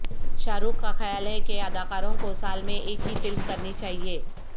شاہ رخ کا خیال ہے کہ اداکاروں کو سال میں ایک ہی فلم کرنی چاہیے